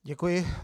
Děkuji.